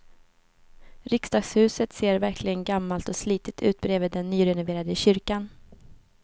Riksdagshuset ser verkligen gammalt och slitet ut bredvid den nyrenoverade kyrkan.